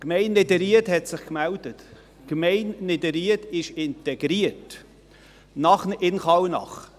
Die Gemeinde Niederried hat sich gemeldet und ist nun in Kallnach integriert.